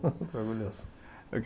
Estou orgulhoso.